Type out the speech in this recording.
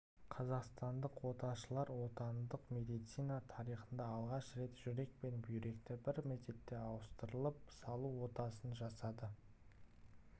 қазақстандық оташылар отандық медицина тарихында алғаш рет жүрек пен бүйректі бір мезетте ауыстырып салу отасын жасады